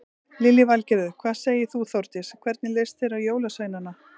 Lillý Valgerður: Hvað segir þú Þórdís, hvernig leist þér á jólasveinana?